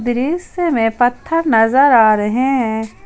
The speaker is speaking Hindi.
दृश्य में पत्थर नजर आ रहे हैं।